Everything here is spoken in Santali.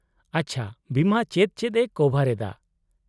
-ᱟᱪᱪᱷᱟ, ᱵᱤᱢᱟ ᱪᱮᱫ ᱪᱮᱫ ᱮ ᱠᱚᱵᱷᱟᱨ ᱮᱫᱟ ?